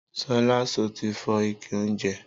Sọla sọtí fọ ìké ounjẹ?